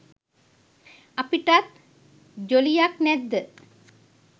අපිටත් ජොලියක් නැද්ද?